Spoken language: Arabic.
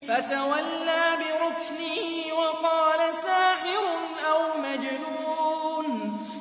فَتَوَلَّىٰ بِرُكْنِهِ وَقَالَ سَاحِرٌ أَوْ مَجْنُونٌ